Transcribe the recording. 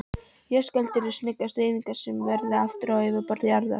Jarðskjálftar eru snöggar hreyfingar sem verður vart á yfirborði jarðar.